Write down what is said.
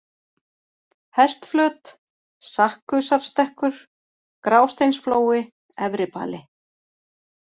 Hestflöt, Sakkusarstekkur, Grásteinsflói, Efribali